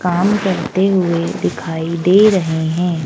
काम करते हुए दिखाई दे रहे हैं।